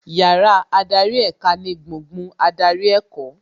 Yàrá adarí èka ni gbùngbùn adarí ẹ̀kọ́